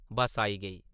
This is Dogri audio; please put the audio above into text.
बस आई गेई ।